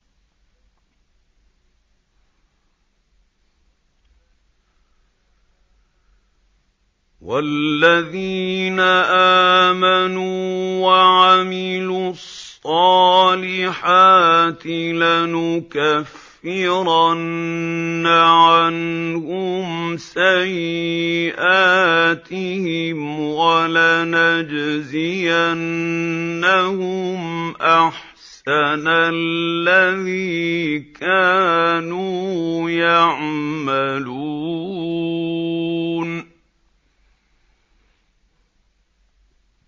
وَالَّذِينَ آمَنُوا وَعَمِلُوا الصَّالِحَاتِ لَنُكَفِّرَنَّ عَنْهُمْ سَيِّئَاتِهِمْ وَلَنَجْزِيَنَّهُمْ أَحْسَنَ الَّذِي كَانُوا يَعْمَلُونَ